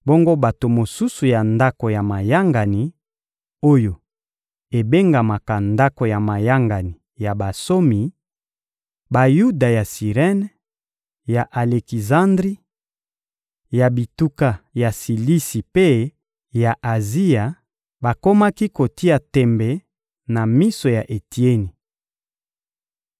Bongo bato mosusu ya ndako ya mayangani oyo ebengamaka Ndako ya mayangani ya bansomi: Bayuda ya Sirene, ya Alekizandri, ya bituka ya Silisi mpe ya Azia; bakomaki kotia tembe na miso ya Etieni.